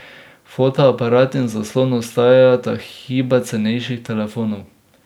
Fotoaparat in zaslon ostajata hiba cenejših telefonov.